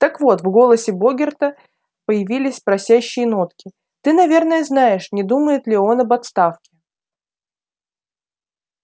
так вот в голосе богерта появились просящие нотки ты наверное знаешь не думает ли он об отставке